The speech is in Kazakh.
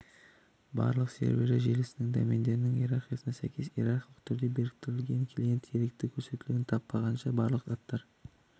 барлық серверлер желісінің домендерінің иерархиясына сәйкес иерархиялы түрде біріктірілген клиент керекті көрсетулерді таппағанша барлық аттар